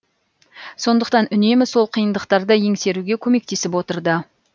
сондықтан үнемі сол қиындықтарды еңсеруге көмектесіп отырды